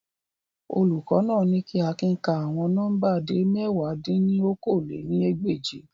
Olukọ naa ni ki Akin ka awọn nọmba de mẹ̀wá dín ní okòó-lé-ní-ẹgbẹ́je